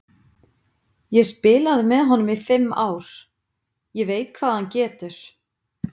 Ég spilaði með honum í fimm ár, ég veit hvað hann getur.